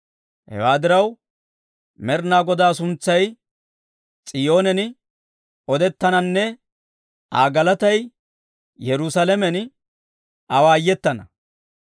Hewaa diraw, Med'inaa Godaa suntsay S'iyoonen odettananne Aa galatay Yerusaalamen awaayetana.